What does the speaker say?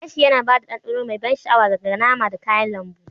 Gashi yana ba da ɗanɗanon mai ban sha'awa ga nama da kayan lambu.